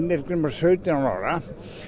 var sautján ára